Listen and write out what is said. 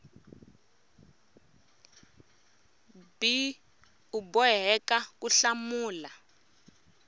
b u boheka ku hlamula